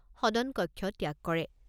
সদন কক্ষ ত্যাগ কৰে।